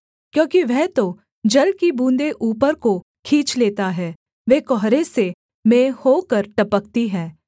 क्योंकि वह तो जल की बूँदें ऊपर को खींच लेता है वे कुहरे से मेंह होकर टपकती हैं